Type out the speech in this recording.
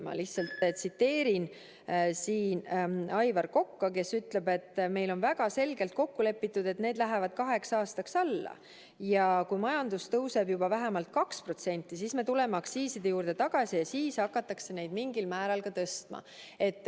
Ma tsiteerin Aivar Kokka, kes ütles, et meil on väga selgelt kokku lepitud, et need lähevad kaheks aastaks alla ja kui majandus tõuseb juba vähemalt 2%, siis me tuleme aktsiiside juurde tagasi ja siis hakatakse neid mingil määral ka tõstma.